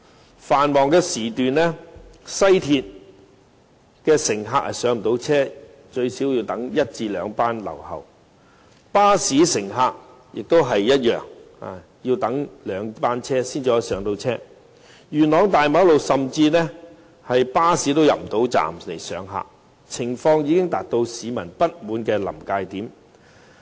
在繁忙時段，西鐵乘客最少也要等候一兩班車才能上車；而巴士乘客的情況亦相同，也是要等候兩班車才有位置上車，元朗大馬路非常擠塞，甚至連巴士也無法駛入巴士站，情況已經到達市民不滿的臨界點。